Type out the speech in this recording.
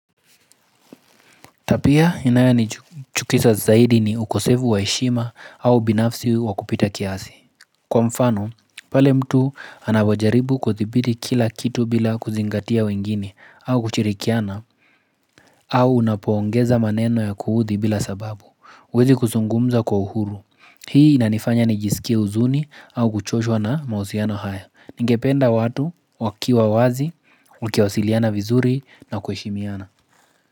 Tabia inayonichukiza zaidi ni ukosefu wa heshima au ubinafsi wa kupita kiasi. Kwa mfano, pale mtu anapojaribu kuthibiti kila kitu bila kuzingatia wengine au kushirikiana au unapoongeza maneno ya kuuudhi bila sababu. Huwezi kuzungumza kwa uhuru. Hii inanifanya nijisikie huzuni au kuchoshwa na mausiano haya. Ningependa watu wakiwa wazi, ukiwasiliana vizuri na kuheshimiana.